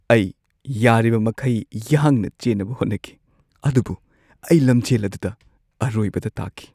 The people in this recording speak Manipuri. ꯑꯩ ꯌꯥꯔꯤꯕꯃꯈꯩ ꯌꯥꯡꯅ ꯆꯦꯟꯅꯕ ꯍꯣꯠꯅꯈꯤ ꯑꯗꯨꯕꯨ ꯑꯩ ꯂꯝꯖꯦꯜ ꯑꯗꯨꯗ ꯑꯔꯣꯏꯕꯗ ꯇꯥꯈꯤ꯫